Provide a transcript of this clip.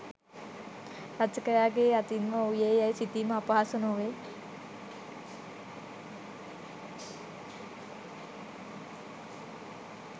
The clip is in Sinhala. රචකයාගේ අතින් ම වූයේ යැයි සිතීම අපහසු නොවේ